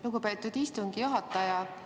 Lugupeetud istungi juhataja!